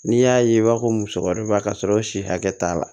N'i y'a ye i b'a fɔ ko musokɔrɔba ka sɔrɔ si hakɛ t'a la